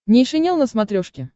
нейшенел на смотрешке